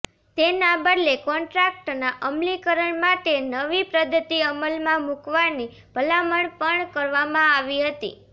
તેના બદલે કોન્ટ્રાક્ટના અમલીકરણ માટે નવી પદ્ધતિ અમલમાં મૂકવાની ભલામણ પણ કરવામાં આવી હતી